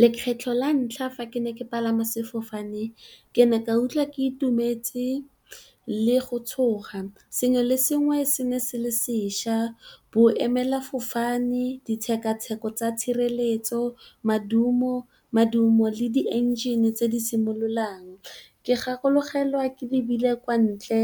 Lekgetlho la ntlha fa ke ne ke palama sefofane ke ne ka ikutlwa ke itumetse le go tshoga, sengwe le sengwe se ne se le seša, bo emela fofane ditshekatsheko tsa tshireletso, modumo le di enjine tse di simololang. Ke gakologelwa ke lebile kwa ntle